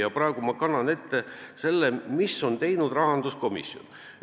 Ja praegu ma kannan ette, mida on teinud rahanduskomisjon.